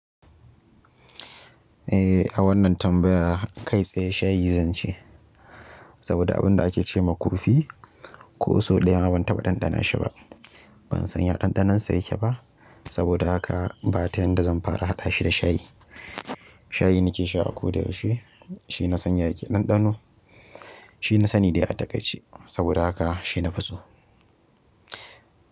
Eh, a wannan tambaya kai tsaye shayi zan ce. Saboda abin da ake ce kurfi ko sau ɗaya ma ban taɓa ɗanɗana shi ba. Ban san ya ɗanɗanon sa yake ba, saboda haka ba ta yanda zan fara haɗa shi da shayi. Shayi nake sha a ko da yaushe. Shi na san ya yake ɗanɗano. Shi na sani dai a takaice saboda haka shi na fi so.